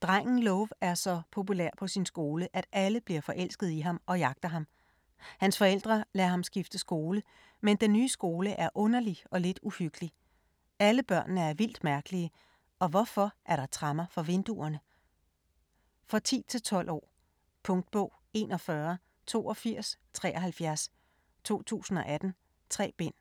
Drengen Love er så populær på sin skole, at alle bliver forelsket i ham og jagter ham. Hans forældre lader ham skifte skole. Men den nye skole er underlig og lidt uhyggelig. Alle børnene er vildt mærkelige, og hvorfor er der tremmer for vinduerne? For 10-12 år. Punktbog 418273 2018. 3 bind.